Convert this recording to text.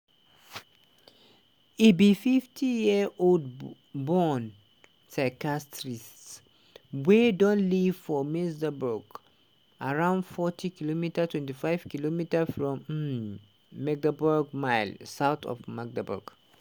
e be 50-year-old born psychiatrist wey don live for mesanburg around 40km (25 km from um magdeburg miles) south of magdeburg.